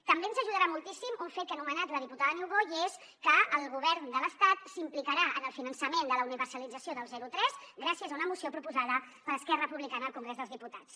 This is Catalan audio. també ens ajudarà moltíssim un fet que ha anomenat la diputada niubó i és que el govern de l’estat s’implicarà en el finançament de la universalització dels zero tres gràcies a una moció proposada per esquerra republicana al congrés dels diputats